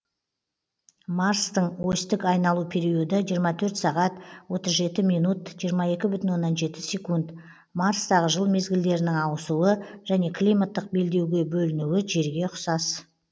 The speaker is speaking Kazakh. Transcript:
марстың осьтік айналу периоды жиырма төрт сағат отыз жеті минут жиырма екі бүтін оннан жеті секунд марстағы жыл мезгілдерінің ауысуы және климаттық белдеуге бөлінуі жерге ұқсас